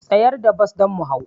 Tsayar da bas don mu hau